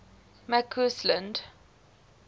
mccausland